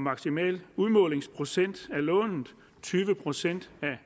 maksimal udmålingsprocent af lånet tyve procent af